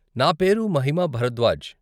నా పేరు మహిమా భరద్వాజ్.